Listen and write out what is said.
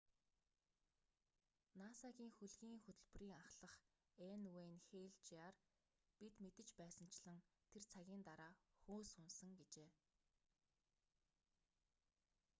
наса-гийн хөлгийн хөтөлбөрийн ахлах н.уэйн хэйл жр бид мэдэж байсанчлан тэр цагийн дараа хөөс унасан гэжээ